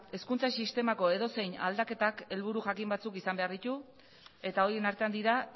hezkuntza sistemako edozein aldaketak helburu jakin batzuk izan behar ditu eta horien artean dira